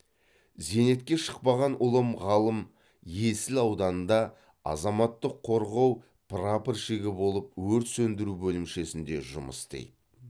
зейнетке шықпаған ұлым ғалым есіл ауданында азаматтық қорғау прапорщигі болып өрт сөндіру бөлімшесінде жұмыс істейді